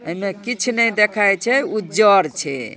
एने कीछ कु नाय देखाय छे उज्जर छे|